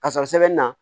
Ka sɔrɔ sɛbɛnni na